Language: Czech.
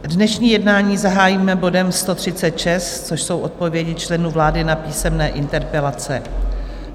Dnešní jednání zahájíme bodem 136, což jsou odpovědi členů vlády na písemné interpelace.